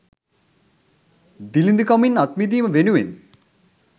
දිළිදුකමින් අත්මිදීම වෙනුවෙන්